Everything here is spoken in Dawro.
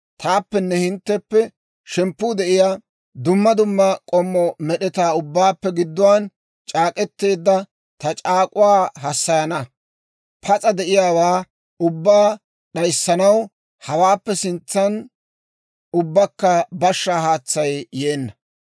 taappenne hintteppe shemppuu de'iyaa dumma dumma k'ommo med'etaa ubbaappe gidduwaan c'aak'k'eteedda ta c'aak'uwaa hassayana; pas'a de'iyaawaa ubbaa d'ayssanaw hawaappe sintsan ubbakka bashshaa haatsay yeenna.